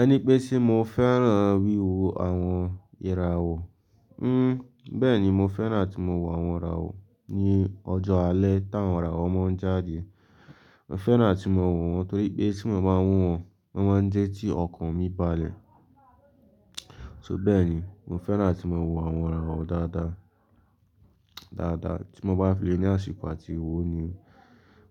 Ẹni pé ṣé mo fẹ́ràn wíwo àwọn ìràwọ̀? Hmm, bẹ́ẹ̀ni, mo fẹ́ràn tí mo wò àwọn ìràwọ̀ ní ọjọ́ alẹ́ táwọn ìràwọ̀ máa ń jáde. Mo fẹ́ràn tí mo wò wọ́n torí pé tí mo bá wọ́n, wọ́n máa ń jẹ́ ti ọkàn mi balẹ̀. So bẹ́ẹ̀ ni, mo fẹ́ràn tí mo wò àwọn ìràwọ̀ dáadáa, dáadáa tí mo bá fi lé ní àsìkò àti owó ni.